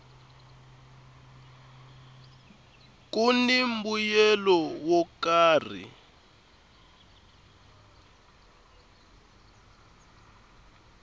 kuni mbuyelo wo karhi